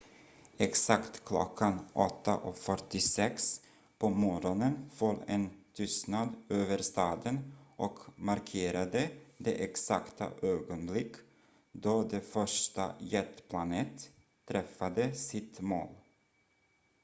exakt klockan 8.46 på morgonen föll en tystnad över staden och markerade det exakta ögonblick då det första jetplanet träffade sitt mål